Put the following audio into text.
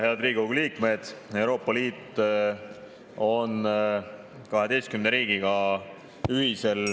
Head Riigikogu liikmed!